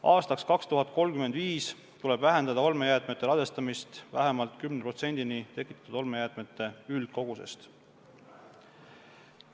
Aastaks 2035 tuleb vähendada olmejäätmete ladestamist vähemalt 10%-ni tekitatud olmejäätmete üldkogusest.